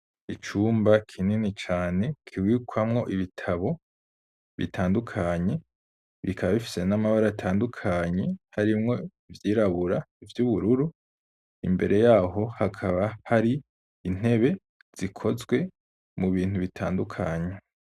Icumba kinini cane kibikwamwo ibitabo bitandukanye, bikaba bifise n'amabara atandukanye harimwo ivyirabura, ivy'ubururu imbere yaho hakaba hari intebe zikozwe mu bintu bitandukanye.